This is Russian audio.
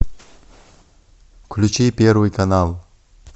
включи первый канал